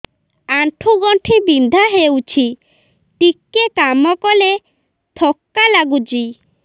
ଆଣ୍ଠୁ ଗଣ୍ଠି ବିନ୍ଧା ହେଉଛି ଟିକେ କାମ କଲେ ଥକ୍କା ଲାଗୁଚି